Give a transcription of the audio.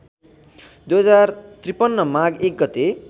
२०५३ माघ १ गते